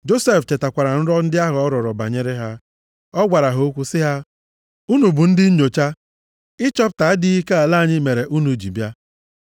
Josef chetakwara nrọ ndị ahụ ọ rọrọ banyere ha. Ọ gwara ha okwu sị ha, “Unu bụ ndị nnyocha. Ịchọpụta adịghị ike ala anyị mere unu ji bịa.”